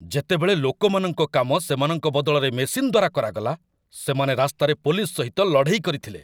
ଯେତେବେଳେ ଲୋକମାନଙ୍କ କାମ ସେମାନଙ୍କ ବଦଳରେ ମେସିନ୍‌ ଦ୍ୱାରା କରାଗଲା, ସେମାନେ ରାସ୍ତାରେ ପୋଲିସ ସହିତ ଲଢ଼େଇ କରିଥିଲେ।